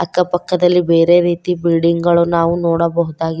ಅಕ್ಕ ಪಕ್ಕದಲ್ಲಿ ಬೇರೆ ರೀತಿ ಬಿಲ್ಡಿಂಗ್ ಗಳು ನಾವು ನೋಡಬಹುದಾ --